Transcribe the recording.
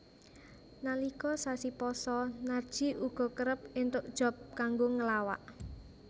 Nalika sasi pasa Narji uga kerep entuk job kanggo nglawak